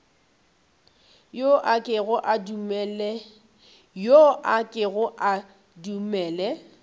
yo a kego a dumele